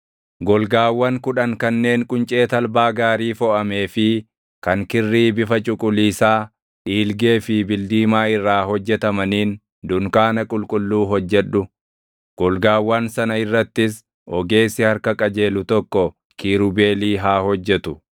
“Golgaawwan kudhan kanneen quncee talbaa gaarii foʼamee fi kan kirrii bifa cuquliisaa, dhiilgee fi bildiimaa irraa hojjetamaniin dunkaana qulqulluu hojjedhu; golgaawwan sana irrattis ogeessi harka qajeelu tokko kiirubeelii haa hojjetu.